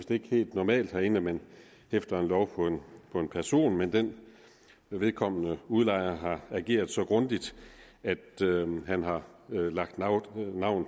ikke helt normalt herinde at man hæfter en lov på en person men vedkommende udlejer har ageret så grundigt at han har lagt navn